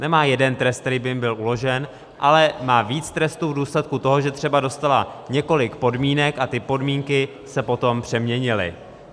Nemá jeden trest, který by jim byl uložen, ale má víc trestů v důsledku toho, že třeba dostali několik podmínek a ty podmínky se potom přeměnily.